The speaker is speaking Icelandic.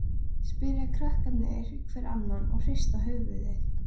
spyrja krakkarnir hver annan og hrista höfuðið.